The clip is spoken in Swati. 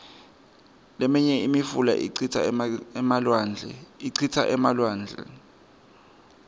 liminye imifula icitsa elwandle